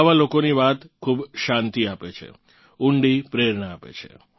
આવાં લોકોની વાત ખૂબ શાંતિ આપે છે ઊંડી પ્રેરણા આપે છે